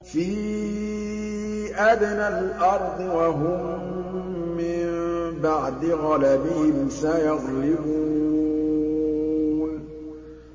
فِي أَدْنَى الْأَرْضِ وَهُم مِّن بَعْدِ غَلَبِهِمْ سَيَغْلِبُونَ